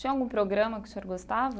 Tinha algum programa que o senhor gostava?